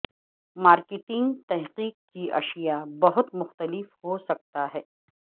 marketing تحقیق کی اشیاء بہت مختلف ہو سکتا ہے